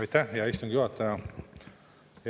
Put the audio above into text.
Aitäh, hea istungi juhataja!